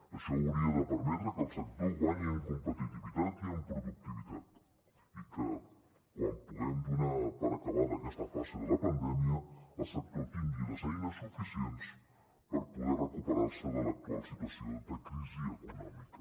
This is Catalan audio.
això hauria de permetre que el sector guanyi en competitivitat i en productivitat i que quan puguem donar per acabada aquesta fase de la pandèmia el sector tingui les eines suficients per poder recuperar se de l’actual situació de crisi econòmica